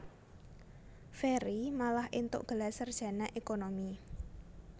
Ferry malah éntuk gelar sarjana ékonomi